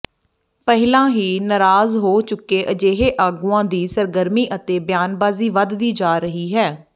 ਪਹਿਲਾਂ ਹੀ ਨਰਾਜ਼ ਹੋ ਚੁੱਕੇ ਅਜਿਹੇ ਆਗੂਆਂ ਦੀ ਸਰਗਰਮੀ ਅਤੇ ਬਿਆਨਬਾਜ਼ੀ ਵਧਦੀ ਜਾ ਰਹੀ ਹੈ